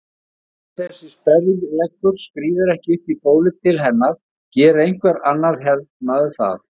Ef þessi sperrileggur skríður ekki upp í bólið til hennar gerir einhver annar hermaður það.